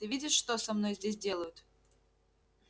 ты видишь что со мной здесь делают